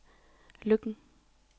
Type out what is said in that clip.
Løkken